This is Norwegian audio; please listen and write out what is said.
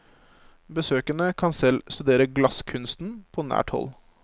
Besøkende kan selv studere glasskunsten på nært hold.